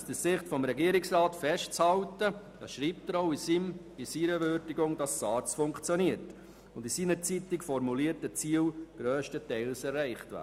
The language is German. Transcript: Der Regierungsrat hält in seiner Würdigung fest, dass die SARZ funktioniert und die seinerzeit formulierten Ziele grösstenteils erreicht wurden.